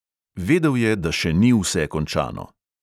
Vedel je, da še ni vse končano.